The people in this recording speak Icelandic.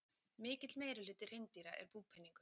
Mikill meirihluti hreindýra er búpeningur.